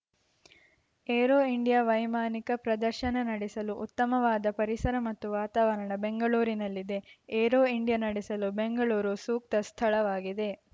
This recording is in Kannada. ಏರೋ ಇಂಡಿಯಾ ವೈಮಾನಿಕ ಪ್ರದರ್ಶನ ನಡೆಸಲು ಉತ್ತಮವಾದ ಪರಿಸರ ಮತ್ತು ವಾತಾವರಣ ಬೆಂಗಳೂರಿನಲ್ಲಿದೆ ಏರೋ ಇಂಡಿಯಾ ನಡೆಸಲು ಬೆಂಗಳೂರು ಸೂಕ್ತ ಸ್ಥಳವಾಗಿದೆ